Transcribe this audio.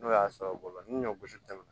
N'o y'a sɔrɔ bolo ni ɲɔ gosi tɛ